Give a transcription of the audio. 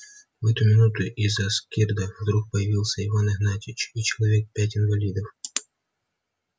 в эту минуту из-за скирда вдруг появился иван игнатьич и человек пять инвалидов